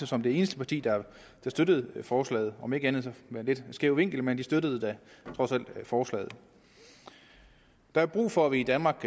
som det eneste parti at støtte forslaget om end med en lidt skæv vinkel men de støttede da trods alt forslaget der er brug for at vi i danmark